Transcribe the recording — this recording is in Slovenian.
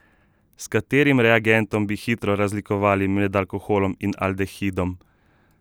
S katerim reagentom bi hitro razlikovali med alkoholom in aldehidom?